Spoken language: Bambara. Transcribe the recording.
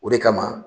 O de kama